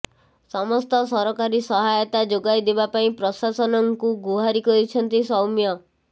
ସମସ୍ତ ସରକାରୀ ସହାୟତା ଯୋଗାଇଦେବା ପାଇଁ ପ୍ରଶାସନ ଙ୍କୁ ଗୁହାରୀ କରିଛନ୍ତି ସୌମ୍ୟ